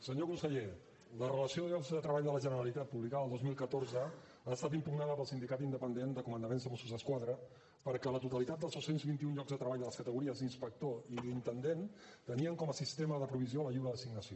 senyor conseller la relació de llocs de treball de la generalitat publicada el dos mil catorze ha estat impugnada pel sindicat independent de comandaments de mossos d’esquadra perquè la totalitat dels dos cents i vint un llocs de treball de les categories d’inspector i d’intendent tenien com a sistema de provisió la lliure designació